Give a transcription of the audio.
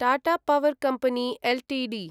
Tata power company Ltd